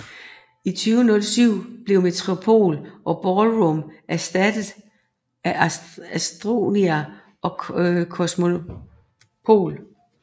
I 2007 blev Metropol og Ballroom erstattet af Astoria og Cosmopol